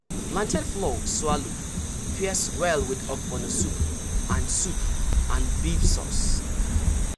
plantain flour swallow pairs well with ogbono soup and soup and beef sauce.